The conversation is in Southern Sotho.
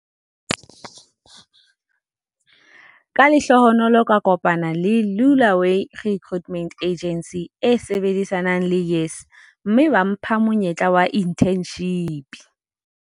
"Ka lehlohonolo ka kopana le Lula way Recruitment Agency e sebedisanang le YES, mme ba mpha monyetla wa inthenshipi."